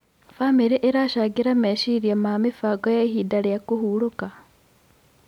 Bamĩrĩ ĩracangĩra meciria ma mĩbango ya ihinda rĩa kũhurũka.